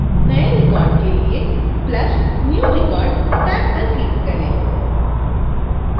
नए record के लिए plus new record टैब पर click करें